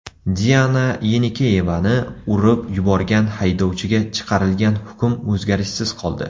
Diana Yenikeyevani urib yuborgan haydovchiga chiqarilgan hukm o‘zgarishsiz qoldi.